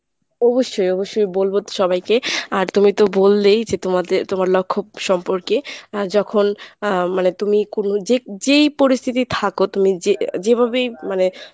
অবশ্যই অবশ্যই বলবো সবাইকে আর তুমি তো বললেই যে তোমাদের তোমার লক্ষ্য সম্পর্কে আ যখন আ মানে তুমি কোন যে যেই পরিস্থিতি থাকো তুমি যে যেভাবেই মানে।